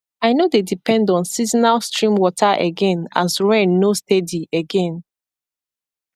i no dey depend on seasonal stream water again as rain nor steady again